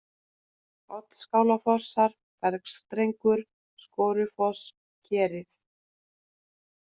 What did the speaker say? Oddskálafossar, Bergstrengur, Skorufoss, Kerið